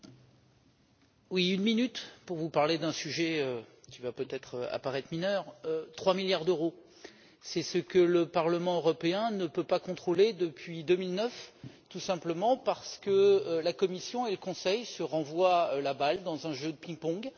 Madame la Présidente, une minute pour vous parler d'un sujet qui va peut-être paraître mineur. Trois milliards d'euros c'est ce que le Parlement européen ne peut pas contrôler depuis 2009, tout simplement parce que la Commission et le Conseil se renvoient la balle dans un jeu de ping pong.